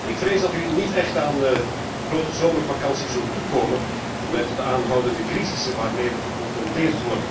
Ik vrees dat u niet echt aan een grote zomervakantie zult toekomen met de aanhoudende crisissen waarmee we geconfronteerd worden.